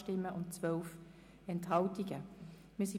[Krähenbühl, Unterlangenegg – Nr. 4])